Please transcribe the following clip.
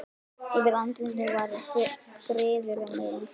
Yfir andlitinu var friður og mildi.